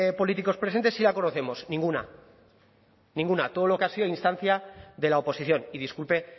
políticos presentes sí la conocemos ninguna ninguna todo lo que ha sido a instancia de la oposición y disculpe